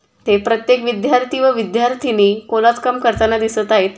ते प्रत्येक विद्यार्थी व विद्यार्थीनी कोलाज काम करताना दिसत आहेत.